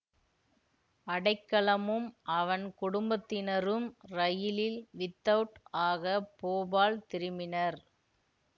அடைக்கலமும் அவன் குடும்பத்தினரும் ரயிலில் வித்தவுட் ஆக போபால் திரும்பினர்